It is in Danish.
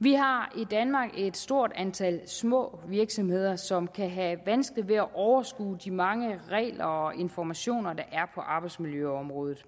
vi har i danmark et stort antal små virksomheder som kan have vanskeligt ved at overskue de mange regler og informationer der er på arbejdsmiljøområdet